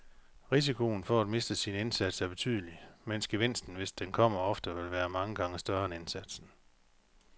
Risikoen for at miste sin indsats er betydelig, mens gevinsten, hvis den kommer, ofte vil være mange gange større end indsatsen.